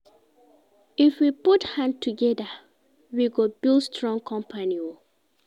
If we put hand togeda, we go build strong company o.